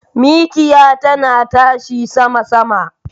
Mikiya tana tashi sama sama.